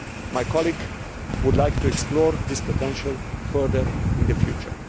My colleague would like to explore this potential further in the future.